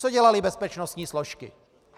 Co dělaly bezpečnostní složky?